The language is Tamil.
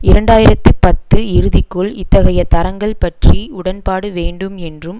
இரண்டாயிரத்தி பத்து இறுதிக்குள் இத்தகைய தரங்கள் பற்றி உடன்பாடு வேண்டும் என்றும்